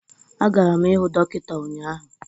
Agara m ịhụ dọkịta ụnyaahụ